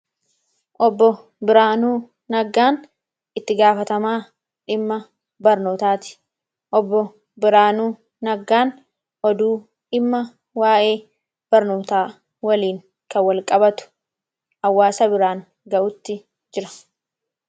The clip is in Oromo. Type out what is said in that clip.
Obbo Biraanuu Naggaan itti gaafatamaa dhimma barnootaati. Obbo Biraanuu Naggaan oduu dhimma waayee barnootaa waliin kan wal qabatu hawaasa biraan gahuutti jira.